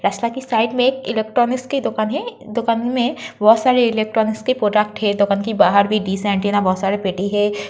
की साइड मे इलेक्ट्रानिक्स की दुकान है। दुकान मे बोहोत सारे इलेक्ट्रानिक्स के प्रोडक्ट हैं। दुकान के बाहर भी बोहोत सारे पेटी हैं।